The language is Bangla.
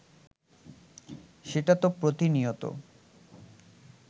সেটা তো প্রতিনিয়ত